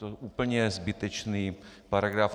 To úplně je zbytečný paragraf.